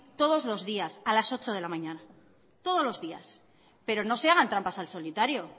todos los días a las ocho de la mañana todos los días pero no se hagan trampas al solitario